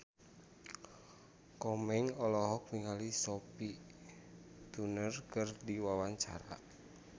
Komeng olohok ningali Sophie Turner keur diwawancara